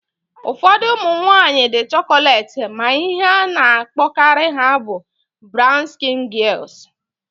Ụfọdụ ụmụ nwaanyị dị chokolet ma ihe a na-akpọkarị ha bụ brawn skịn gịels